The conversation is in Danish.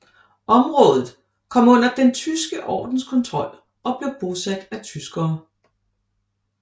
Området kom under Den tyske ordens kontrol og blev bosat af tyskere